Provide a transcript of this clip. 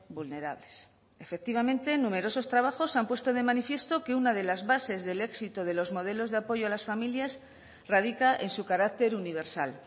vulnerables efectivamente en numerosos trabajos se han puesto de manifiesto que una de las bases del éxito de los modelos de apoyo a las familias radica en su carácter universal